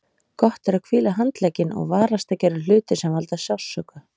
Gott er að hvíla handlegginn og varast að gera hluti sem valda sársauka.